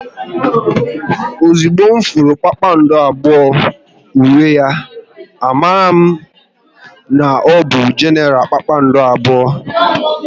Ozigbo m hụrụ kpakpando abụọ n'uwe ya, a marala m n'ọbụ Genara kpakpando abụọ